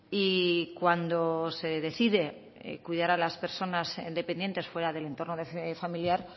y cuando se decide cuidar a las personas dependientes fuera del entorno familiar